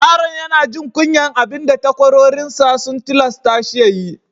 Yaron ya na jin kunyan abin da takwarorin sa sun tillasa shi ya yi.